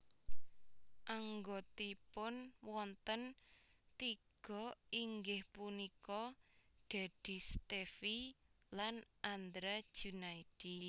Anggotipun wonten tiga inggih punika Dedy Stevie lan Andra Junaidi